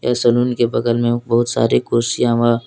salon के बगल में बहुत सारे कुर्सियां व--